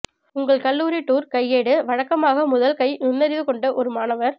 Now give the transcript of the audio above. உங்கள் கல்லூரி டூர் கையேடு வழக்கமாக முதல் கை நுண்ணறிவு கொண்ட ஒரு மாணவர்